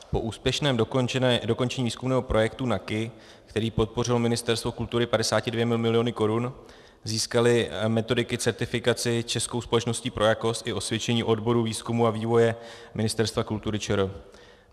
Po úspěšném dokončení výzkumného projektu NAKI, který podpořilo Ministerstvo kultury 52 miliony korun, získaly metodiky certifikaci Českou společností pro jakost i osvědčení odboru výzkumu a vývoje Ministerstva kultury ČR.